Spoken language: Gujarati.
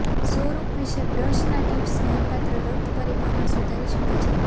સો રૂપ વિશે બ્રશ ના ટીપ્સ નોંધપાત્ર રક્ત પરિભ્રમણ સુધારી શકે છે